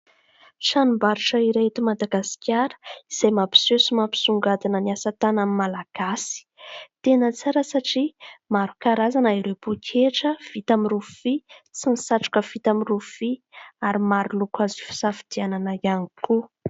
Tranom-barotra iray eto Madagasikara izay mampiseho sy mampisongadina ny asa tanan'ny malagasy. Tena tsara satria maro karazana ireo pôketra vita amin'ny rofia sy ny satroka vita amin'ny rofia ary maro loko azo hisafidianana ihany koa.